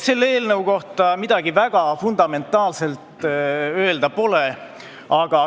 Selle eelnõu kohta midagi väga fundamentaalset öelda pole.